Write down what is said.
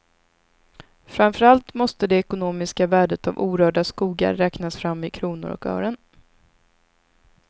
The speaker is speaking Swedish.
Framför allt måste det ekonomiska värdet av orörda skogar räknas fram i kronor och ören.